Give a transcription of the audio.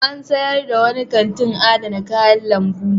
An sayar da wani kantin adana kayan lambu.